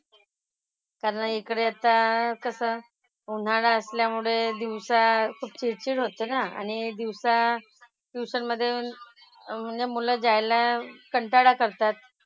कारण इकडे आता कसं उन्हाळा असल्यामुळे दिवसा खूप चिडचिड होते ना. आणि दिवसा ट्युशन मधे म्हणजे मुलं जायला कंटाळा करतात.